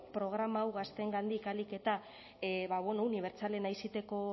programa hau gazteengandik ahalik eta unibertsalena iziteko